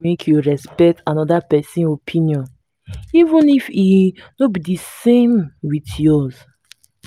make you respect anoda pesin opinion even if e no be di same wit yours.